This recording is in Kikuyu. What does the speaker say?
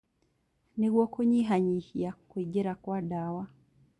Nĩguo kũnyihanyihia kũingĩra Kwa ndawa